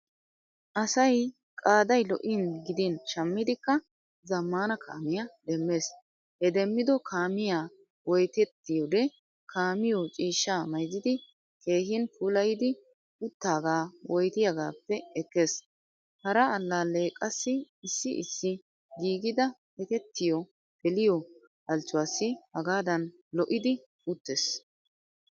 Asay qaaday lo'in gidin shammidikka zamaana kaamiyaa demmees. He demmido kaamiyaa woyttetiyode kaamiyo ciishshaa maayzzidi keehin puulayid uttaga woyttiyagappe ekkees. Hara allale qaasi issi issi giigida ekketiyo geeliyo halchchuwasi hagadan loidi uttees.